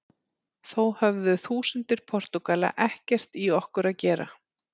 Þó höfðu þúsundir Portúgala ekkert í okkur að gera.